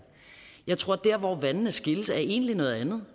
jeg tror at der hvor vandene skilles egentlig er et andet